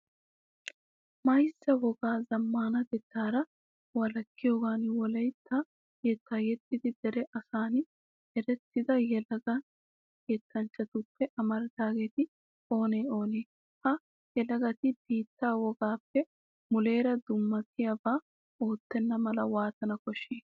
Mayzza wogaa zammaanatettaara walakkiyogan wolaytta yettaa yexxidi dere asan erettida yelaga yettanchchatuppe amaridaageeti oonee oonee? Ha yelagati biittee wogaappe muleera dummatiyabaa oottenna mala waatana koshshii?